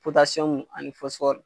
ani